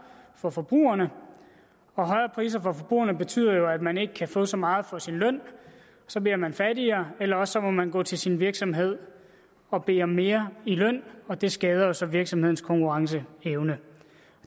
for forbrugerne og højere priser for forbrugerne betyder jo at man ikke kan få så meget for sin løn og så bliver man fattigere eller også må man gå til sin virksomhed og bede om mere i løn og det skader jo så virksomhedens konkurrenceevne